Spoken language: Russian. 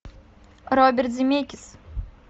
роберт земекис